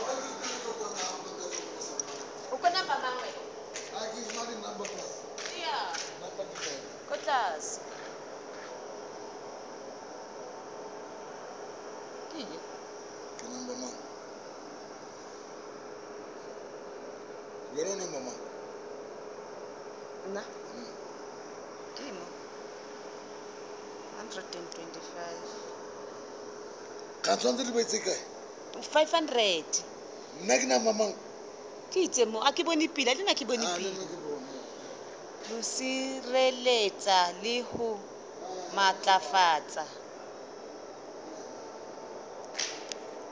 ho sireletsa le ho matlafatsa